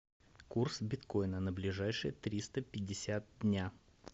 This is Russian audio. курс биткоина на ближайшие триста пятьдесят дня